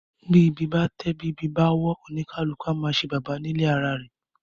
Bí ìbí bá tẹ̀, bí ìbí bá wọ́, oníkálukú á máa ṣe baba nílé ara rẹ̀.